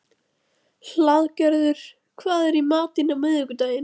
Hlaðgerður, hvað er í matinn á miðvikudaginn?